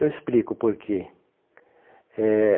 Eu explico o porquê. Eh